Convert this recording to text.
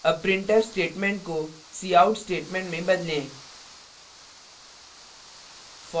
अब printf statement cout statement को में बदलें